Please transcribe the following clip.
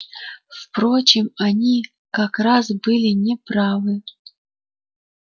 впрочем они как раз были не правы